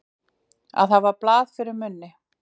Að hafa blað fyrir munni